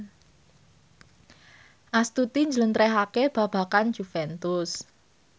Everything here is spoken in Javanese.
Astuti njlentrehake babagan Juventus